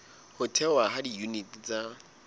ho thehwa ha diyuniti tsa